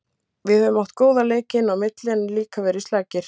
Við höfum átt góða leiki inn á milli en líka verið slakir.